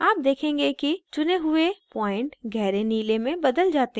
आप देखेंगे कि चुने हुए point गहरे नीले में बदल जाते हैं